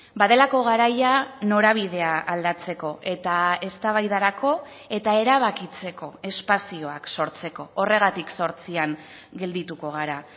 badelako garaia norabidea aldatzeko eta eztabaidarako eta erabakitzeko espazioak sortzeko horregatik zortzian geldituko gara